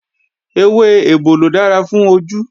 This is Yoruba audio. Ewé ebòlò dára fún ojú